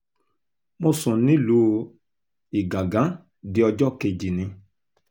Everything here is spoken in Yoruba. mo sùn nílùú igangan di ọjọ́ kejì ni